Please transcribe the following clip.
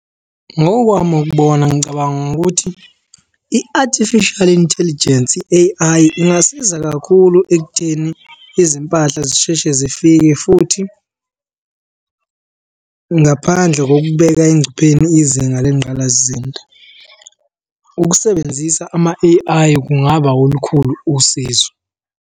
Ngokwami ukubona ngicabanga ukuthi i-artificial intelligence, i-A_I ingasiza kakhulu ekutheni izimpahla zisheshe zifike futhi ngaphandle kokubeka engcupheni izinga lengqalasizinda. Ukusebenzisa ama-A_I kungaba olukhulu usizo.